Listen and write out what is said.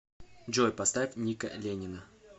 джой поставь ника ленина